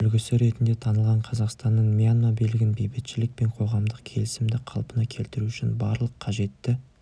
үлгісі ретінде танылған қазақстанның мьянма билігін бейбітшілік пен қоғамдық келісімді қалпына келтіру үшін барлық қажетті